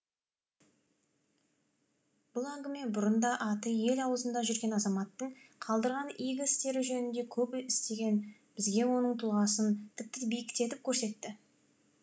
бұл әңгіме бұрын да аты ел аузында жүрген азаматтың қалдырған игі істері жөнінде көп естіген бізге оның тұлғасын тіпті биіктетіп көрсетті